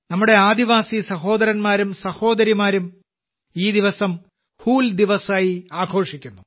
നമ്മുടെ ആദിവാസി സഹോദരങ്ങളും സഹോദരിമാരും ഈ ദിവസം 'ഹൂൽ ദിവസ്' ആയി ആഘോഷിക്കുന്നു